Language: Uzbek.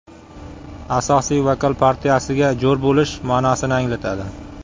Asosiy vokal partiyasiga jo‘r bo‘lish ma’nosini anglatadi.